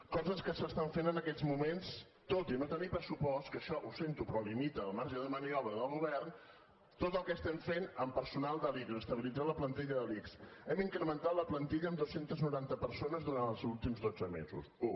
coses que s’estan fent en aquests moments tot i no tenir pressupost que això ho sento però limita el marge de maniobra del govern tot el que estem fent amb personal de l’ics estabilitzar la plantilla de l’ics hem incrementat la plantilla amb dos cents i noranta persones durant els últims dotze mesos u